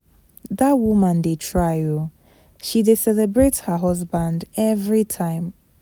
Dat woman dey try oo, she dey celebrate her husband every time.